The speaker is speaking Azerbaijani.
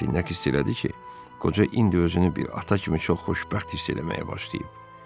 Rastinyak istədi ki, qoca indi özünü bir ata kimi çox xoşbəxt hiss eləməyə başlayıb.